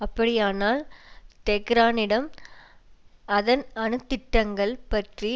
அப்படியானால் தெஹ்ரானிடம் அதன் அணு திட்டங்கள் பற்றி